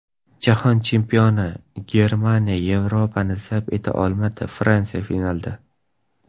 Jahon Chempioni Germaniya Yevropani zabt eta olmadi, Fransiya finalda.